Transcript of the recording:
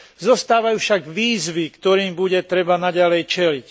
Zostávajú však výzvy, ktorým bude treba naďalej čeliť.